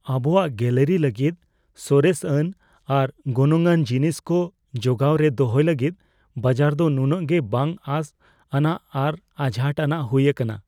ᱟᱵᱚᱣᱟᱜ ᱜᱮᱞᱟᱨᱤ ᱞᱟᱹᱜᱤᱫ ᱥᱚᱨᱮᱥᱼᱟᱱ ᱟᱨ ᱜᱚᱱᱚᱝᱼᱟᱱ ᱡᱤᱱᱤᱥ ᱠᱚ ᱡᱚᱜᱟᱣ ᱨᱮ ᱫᱚᱦᱚᱭ ᱞᱟᱹᱜᱤᱫ ᱵᱟᱡᱟᱨ ᱫᱚ ᱱᱩᱱᱟᱹᱜ ᱜᱮ ᱵᱟᱝ ᱟᱥ ᱟᱱᱟᱜ ᱟᱨ ᱟᱡᱷᱟᱴ ᱟᱱᱟᱜ ᱦᱩᱭ ᱟᱠᱟᱱᱟ ᱾